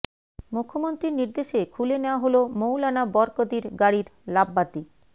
মুখ্যমন্ত্রীর নির্দেশে খুলে নেওয়া হল মৌলানা বরকতির গাড়ির লাববাতি